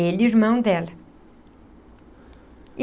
Ele, irmão dela.